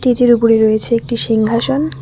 স্টেজের ওপরে রয়েছে একটি সিংহাসন।